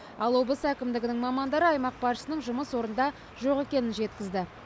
ал облыс әкімдігінің мамандары аймақ басшысының жұмыс орнында жоқ екенін жеткізді